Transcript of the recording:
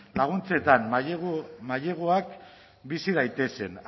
laguntzetan maileguak bizi daitezen